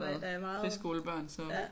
Nej da jeg vejede